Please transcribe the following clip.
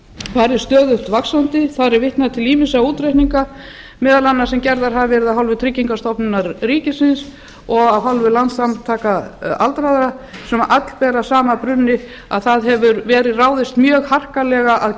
farið stöðugt vaxandi þar er vitnað til ýmissa útreikninga meðal annars sem gerðir hafa verið af hálfu tryggingastofnunar ríkisins og landssamtaka aldraðra sem allt ber að sama brunni að ráðist hefur verið mjög harkalega að